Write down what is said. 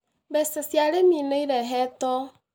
Mbeca cia arĩmi nĩ irehetwo